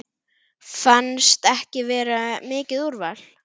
Fannst ekki vera mikið úrval.